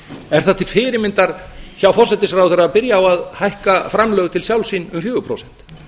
er það til fyrirmyndar hjá forsætisráðherra að byrja á að hækka framlög til sjálfs sín um fjögur prósent